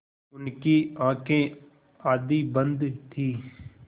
उनकी आँखें आधी बंद थीं